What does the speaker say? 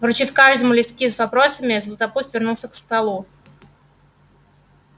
вручив каждому листки с вопросами златопуст вернулся к столу